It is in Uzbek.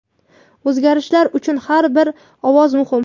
O‘zgarishlar uchun har bir ovoz muhim!.